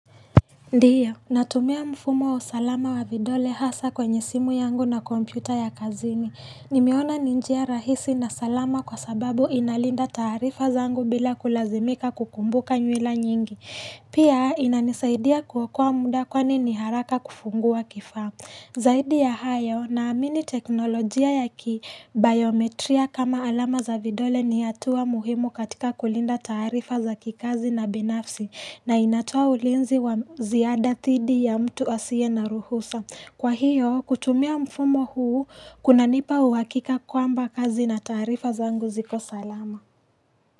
Ndiyo, natumia mfumo wa usalama wa vidole hasa kwenye simu yangu na kompyuta ya kazini. Nimeona ni njia rahisi na salama kwa sababu inalinda taarifa zangu bila kulazimika kukumbuka nywila nyingi. Pia inanisaidia kuokua muda kwani niharaka kufungua kifamu. Zaidi ya hayo, naamini teknolojia ya ki, biometria kama alama za vidole ni hatua muhimu katika kulinda taarifa za kikazi na binafsi na inatoa ulinzi wa ziada thidi ya mtu asiye na ruhusa. Kwa hiyo, kutumia mfumo huu, kuna nipa uwakika kwamba kazi na taarifa zangu ziko salama.